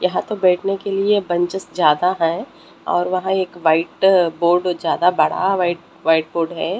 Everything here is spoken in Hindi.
यहां तो बैठने के लिए बंचस ज्यादा है और वहां एक वाइट बोर्ड ज्यादा बड़ा वाइट वाइट बोर्ड है।